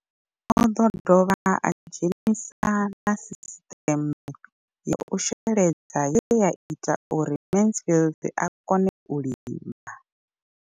O ḓo dovha a dzhenisa na sisiṱeme ya u sheledza ye ya ita uri Mansfied a kone u lima.